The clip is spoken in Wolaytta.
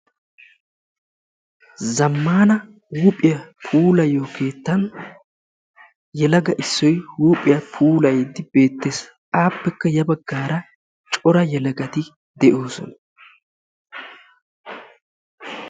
Zammaana huuphphiya puulayiyo keettan gelaga issoy huuphphiya puulayiidi bettees. Appekka ya baggaara cora yelagati de'oosona.